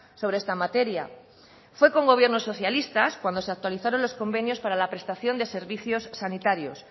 sobre esta materia fue con gobiernos socialistas cuando se actualizaron los convenios para la prestación de servicios sanitarios